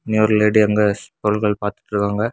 இன்னியொரு lady அங்க பொருட்கள் பாத்துட்ருக்காங்க.